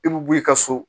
I bi bɔ i ka so